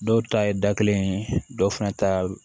Dɔw ta ye da kelen ye dɔw fana ta ye